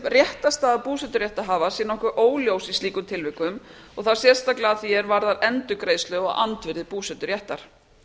réttarstaða búseturéttarhafa sé nokkuð óljós í slíkum tilvikum og þá sérstaklega að því er varðar endurgreiðslu á andvirði búseturéttar